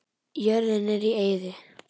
Jörðin er í eyði.